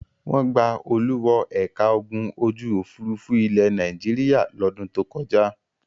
Wọ́n gba Olú wọ ẹ̀ka ogun ojú-òfurufú ilẹ̀ Nàìjíríà lọ́dún tó kọjá.